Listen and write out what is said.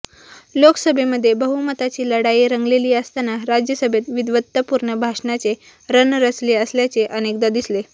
लोकसभेमध्ये बहुमताची लढाई रंगलेली असताना राज्यसभेत विद्वत्तापूर्ण भाषणांचे रण रंगले असल्याचे अनेकदा दिसले